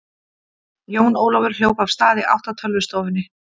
Jón Ólafur hljóp af stað í átt að tölvustofunni.